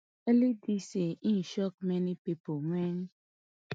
early dis year im shock many pipo wen